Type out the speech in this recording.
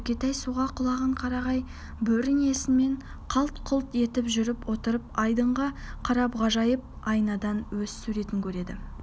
нүкетай суға құлаған қарағай бөренесімен қалт-құлт етіп жүріп отырып айдынға қарап ғажайып айнадан өз суретін көреді